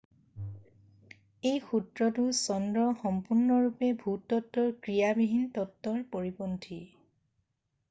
এই সূত্ৰটো চন্দ্ৰ সম্পূৰ্ণৰূপে ভূতত্বৰ ক্ৰিয়াবিহীন তত্বৰ পৰিপন্থী